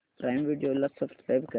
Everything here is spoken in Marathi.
प्राईम व्हिडिओ ला सबस्क्राईब कर